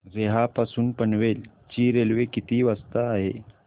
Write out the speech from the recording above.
रोहा पासून पनवेल ची रेल्वे किती वाजता आहे